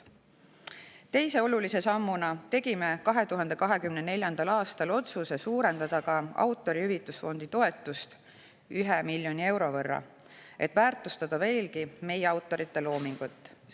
Teise olulise sammuna tegime 2024. aastal otsuse suurendada ka Autorihüvitusfondi toetust 1 miljoni euro võrra, et väärtustada veelgi meie autorite loomingut.